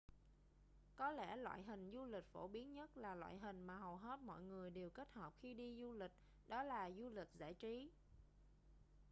có lẽ loại hình du lịch phổ biến nhất là loại hình mà hầu hết mọi người đều kết hợp khi đi du lịch đó là du lịch giải trí